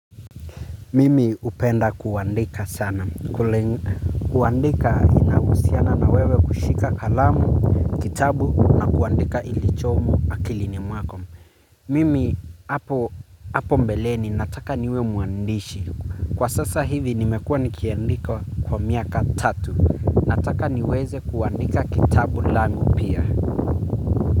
Mimi upenda kuandika sana. Kuandika inausiana na wewe kushika kalamu, kitabu na kuandika ilichomo akilini mwako. Mimi apo mbeleni nataka niwe muandishi. Kwa sasa hivi nimekua nikiandika kwa miaka tatu. Nataka niweze kuandika kitabu langu pia.